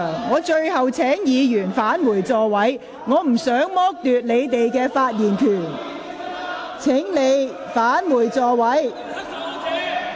我請議員返回座位，我不想剝奪你們的發言權，請返回座位。